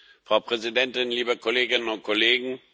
Frau Präsidentin, liebe Kolleginnen und Kollegen!